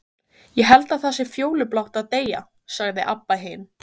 Ég held það sé fjólublátt að deyja, sagði Abba hin.